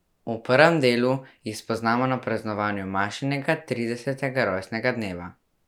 V prvem delu jih spoznamo na praznovanju Mašinega tridesetega rojstnega dneva.